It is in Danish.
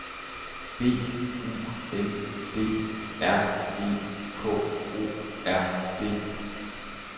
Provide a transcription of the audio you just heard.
B U N D R E K O R D